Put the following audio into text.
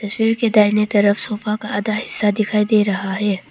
Chair के दाहिने तरफ सोफा का आधा हिस्सा दिखाई दे रहा है।